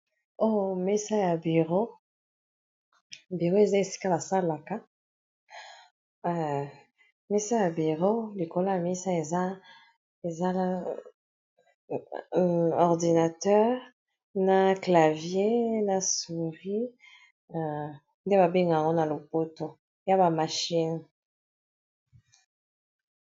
Oyo mesa ya bureau, bureau eza esika basalaka likolo ya mesa eza na ordinateur na clavier na souri nde babengaka ngo na lopoto eza ba machine.